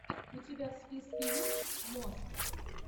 у тебя в списке есть мост